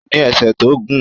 Ó ní ẹsẹ̀ tó gùn